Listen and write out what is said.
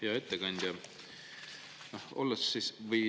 Hea ettekandja!